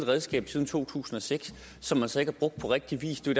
redskab siden to tusind og seks som man så ikke har brugt på rigtig vis det er